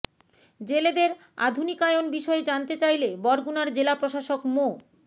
জেলেদের আধুনিকায়ন বিষয়ে জানতে চাইলে বরগুনার জেলা প্রশাসক মো